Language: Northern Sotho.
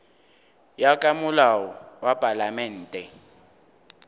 ya ka molao wa palamente